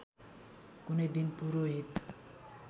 कुनै दिन पुरोहित